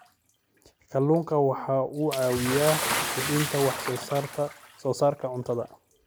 Kalluunku waxa uu caawiyaa kordhinta wax soo saarka cuntada.